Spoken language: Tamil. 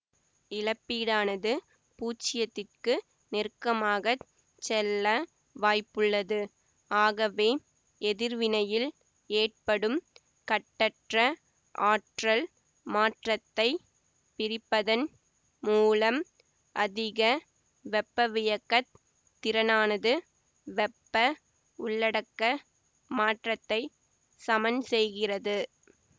இழப்பீடானது பூச்சியத்திக்கு நெருக்கமாகச் செல்ல வாய்ப்புள்ளது ஆகவே எதிர்வினையில் ஏற்படும் கட்டற்ற ஆற்றல் மாற்றத்தை பிரிப்பதன் மூலம் அதிக வெப்பவியக்கத் திறனானது வெப்ப உள்ளடக்க மாற்றத்தை சமன்செய்கிறது